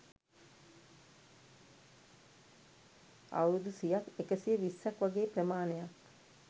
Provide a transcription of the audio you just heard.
අවුරුදු සියක් එකසිය විස්සක් වගේ ප්‍රමාණයක්.